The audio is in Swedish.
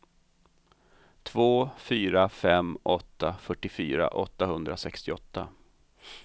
två fyra fem åtta fyrtiofyra åttahundrasextioåtta